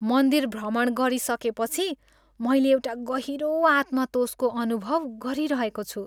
मन्दिर भ्रमण गरिसकेपछि मैले एउटा गहिरो आत्मतोषको अनुभव गरिरहेको छु।